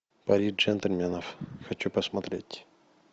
пари джентльменов хочу посмотреть